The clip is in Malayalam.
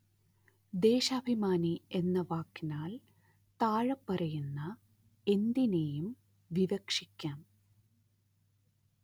ദേശാഭിമാനി എന്ന വാക്കിനാല്‍ താഴെപ്പറയുന്ന എന്തിനേയും വിവക്ഷിക്കാം